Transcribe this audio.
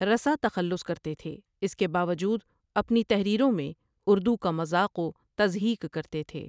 رسا تخلص کرتے تھے اس کے باوجو اپنی تحریروں میں اردو کا مزاق و تضحیک کرتے تھے۔